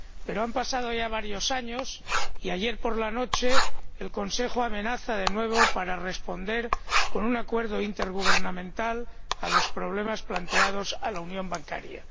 Pero han pasado ya varios años y, ayer por la noche, el Consejo amenaza de nuevo con responder con un acuerdo intergubernamental a los problemas planteados a la unión bancaria.